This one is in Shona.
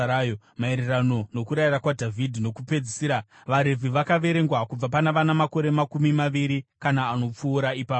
Maererano nokurayira kwaDhavhidhi kwokupedzisira, vaRevhi vakaverengwa kubva pana vana makore makumi maviri kana anopfuura ipapo.